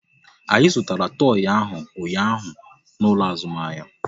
Anyị zụtara toi ahụ ụnyaahụ n'ụlọ azụmahịa